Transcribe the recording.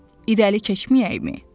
İrəli keçməyəkmi?